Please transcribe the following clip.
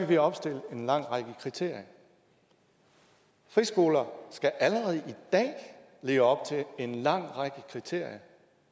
vi opstiller en lang række kriterier friskoler skal allerede i dag leve op til en lang række kriterier